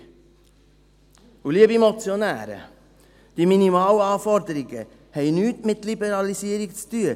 Und, liebe Motionäre, die Minimalanforderungen haben nichts mit Liberalisierung zu tun.